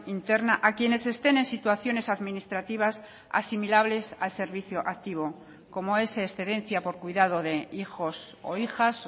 interna a quienes estén en situaciones administrativas asimilables al servicio activo como es excedencia por cuidado de hijos o hijas